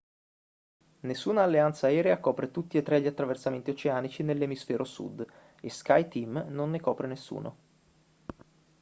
nessuna alleanza aerea copre tutti e tre gli attraversamenti oceanici nell'emisfero sud e skyteam non ne copre nessuno